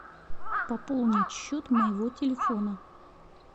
пополнить счет моего телефона